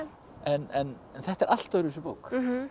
en þetta er allt öðruvísi bók